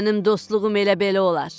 Mənim dostluğum elə belə olar.